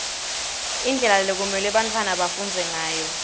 indlela lekumelwe bantfwana bafundze ngayo